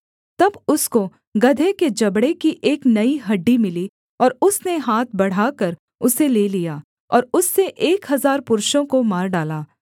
तब उसको गदहे के जबड़े की एक नई हड्डी मिली और उसने हाथ बढ़ाकर उसे ले लिया और उससे एक हजार पुरुषों को मार डाला